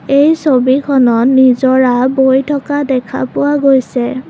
এই ছবিখনত নিজৰা বৈ থকা দেখা পোৱা গৈছে।